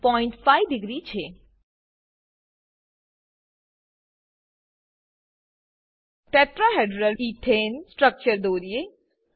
tetrahedral ethane tetrahedral ethane structure દોરીએ